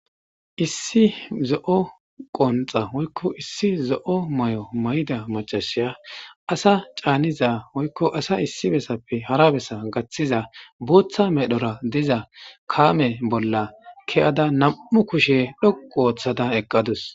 Issi zo7o qonxa woykko issi zo7o may7o mayida macashiya asa caaniza oykko asa issi bessappe hara bessa gaththiza booththa medhora diza kaame bolla ke7ada nam7u kushe dhoqu ooththada eqqadus.